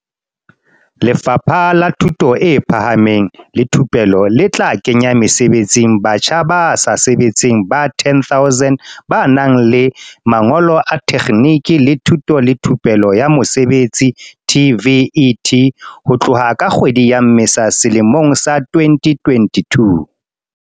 Lefapha la Thuto e Phahameng le Thupelo le tla kenya mesebetsing batjha ba sa sebetseng ba 10 000 ba nang le mangolo a tekgniki le thuto le thupelo ya mosebetsi, TVET, ho tloha ka kgwedi ya Mmesa selemong sa 2022.